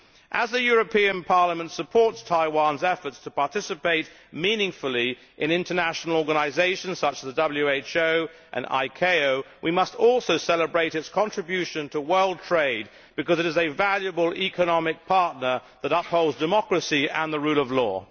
As the European Parliament supports Taiwan's efforts to participate meaningfully in international organisations such as the WHO and ICAO, we must also celebrate its contribution to world trade because it is a valuable economic partner that upholds democracy and the rule of law.